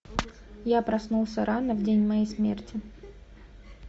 я проснулся рано в день моей смерти